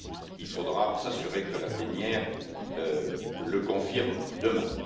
Il faudra s'assurer que la plénière le confirme demain.